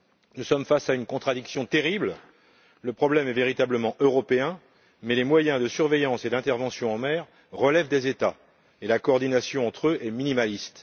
Nous sommes face à une contradiction terrible le problème est véritablement européen, mais les moyens de surveillance et d'intervention en mer relèvent des États et la coordination entre eux est minimaliste.